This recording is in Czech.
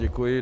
Děkuji.